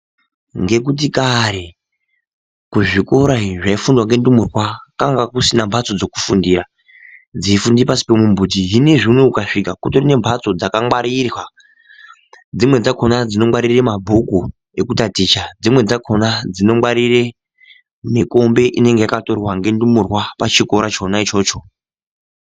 Ngekuti kare kuzvikora izvi zvinofundwa ngendumurwa kwanga kusina mbatso idzi dzekufundira dzeifundira pasi pemimbuti zvinezvi unowu ukasvika kutori nembatso dzakamwarirwa dzimweni dzakona dzinongwarire mabhuku ekutaticha dzinweni dzakona dzinongwarire mikombe inenge yakatorwa nendumurwa pachikora chona ichocho.